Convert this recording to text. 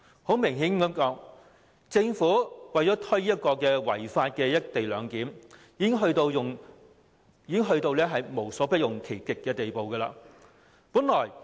坦白說，政府為了推行違法的"一地兩檢"，已經到了無所不用其極的地步。